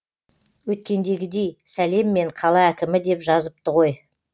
өткендегідей сәлеммен қала әкімі деп жазыпты ғой